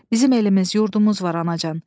Bizim elimiz, yurdumuz var, anacan.